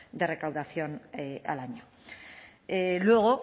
de recaudación al año luego